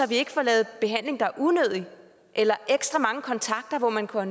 vi får lavet behandling der er unødig eller ekstra mange kontakter hvor man kunne